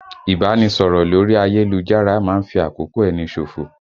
Ìbánisọ̀rọ̀ lórí ayélujára máa ń fi àkókò ẹni ṣòfò